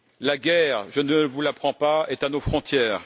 La guerre, je ne vous l'apprends pas, est à nos frontières.